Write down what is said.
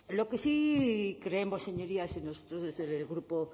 lo que sí creemos señorías nosotros desde el grupo